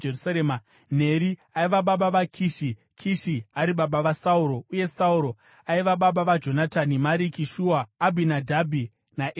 Neri aiva baba vaKishi, Kishi ari baba vaSauro, uye Sauro aiva baba vaJonatani, Mariki-Shua, Abhinadhabhi naEshi-Bhaari.